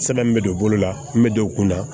Sɛbɛn min bɛ don bolo la n bɛ don u kun na